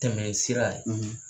Tɛmɛ sira